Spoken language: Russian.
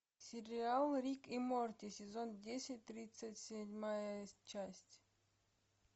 сериал рик и морти сезон десять тридцать седьмая часть